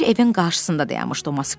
Bir evin qarşısında dayanmışdı o Moskvich.